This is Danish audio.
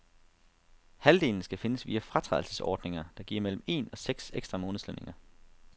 Halvdelen skal findes via fratrædelsesordninger, der giver mellem en og seks ekstra månedslønninger.